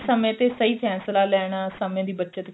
ਸਮੇਂ ਤੇ ਸਹੀ ਫ਼ੈਸਲਾ ਲੈਣਾ ਸਮੇਂ ਦੀ ਬੱਚਤ